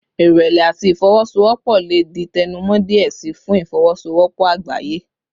Irẹlẹ ati ifowosowopo le di tẹnumọ diẹ sii fun ifowosowopo agbaye